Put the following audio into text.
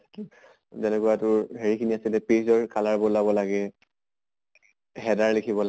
কি যেনেকা তোৰ হেৰি খিনি আছে যে page ৰ color বদ্লাব লাগে। header লিখিব লাগে